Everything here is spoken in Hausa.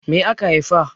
Me aka haifa?